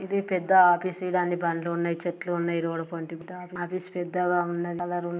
ఇది పెద్ద ఆఫీసు . ఇదన్ని బండ్లు ఉన్నాయ్. చెట్లు ఉన్నాయ్ రోడుపొంతి ఆఫీసు పెద్దగా ఉన్నది.